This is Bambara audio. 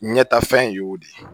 Ɲɛtafɛn y'o de ye